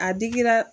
A digira